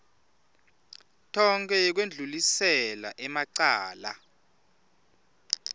tonkhe yekwendlulisela emacala